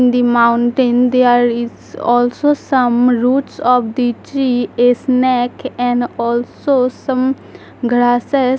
The mountain there is also some roots of the tree a snake and also some grasses.